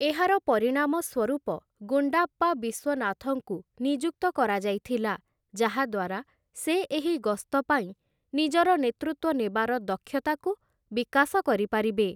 ଏହାର ପରିଣାମ ସ୍ୱରୂପ ଗୁଣ୍ଡାପ୍ପା ବିଶ୍ୱନାଥଙ୍କୁ ନିଯୁକ୍ତ କରାଯାଇଥିଲା, ଯାହାଦ୍ୱାରା ସେ ଏହି ଗସ୍ତପାଇଁ ନିଜର ନେତୃତ୍ୱ ନେବାର ଦକ୍ଷତାକୁ ବିକାଶ କରିପାରିବେ ।